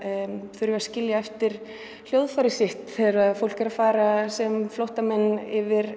þurfa að skilja eftir hljóðfærið sitt þegar fólk er að fara sem flóttamenn yfir